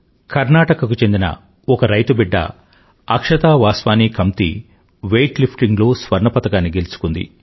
కర్ణాటక కు చెందిన ఒక రైతు బిడ్డ అక్షతా వాస్వాని కమ్తీ వెయిట్ లిఫ్టింగ్ లో స్వర్ణ పతకాన్ని గలుచుకుంది